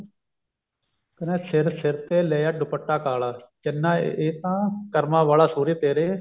ਕਹਿੰਦਾ ਸਿਰ ਸਿਰ ਤੇ ਲਿਆ ਦੁਪੱਟਾ ਕਾਲਾ ਚੰਨਾ ਇਹ ਤਾਂ ਕਰਮਾਂ ਵਾਲਾ ਸੁਹਰੇ ਤੇਰੇ